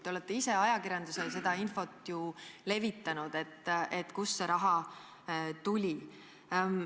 Te olete ise ajakirjandusele seda infot ju levitanud ja öelnud, kust see raha tuli.